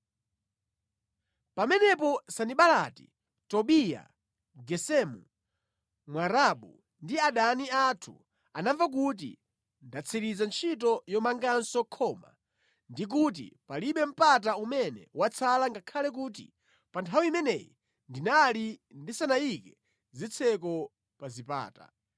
Pamenepo Sanibalati, Tobiya, Gesemu Mwarabu ndi adani athu anamva kuti ndatsiriza ntchito yomanganso khoma ndi kuti palibe mpata umene watsala ngakhale kuti pa nthawi imeneyi ndinali ndisanayike zitseko pa zipata.